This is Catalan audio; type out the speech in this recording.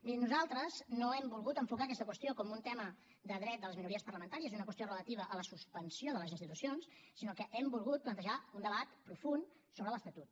miri nosaltres no hem volgut enfocar aquesta qüestió com un tema de dret de les minories parlamentàries és una qüestió relativa a la suspensió de les institucions sinó que hem volgut plantejar un debat profund sobre l’estatut